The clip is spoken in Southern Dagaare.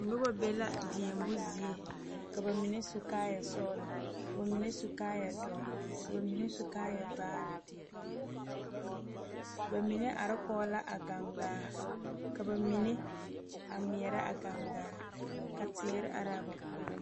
Noba be la deɛmo zie ka bamine su kaaya sɔglɔ ka bamine su kaaya doɔre ka bamine su kaaya vaare bamine are kɔŋ la a gangaa ka bamine a ŋmɛɛre a gangaa ka teere are a ba puori.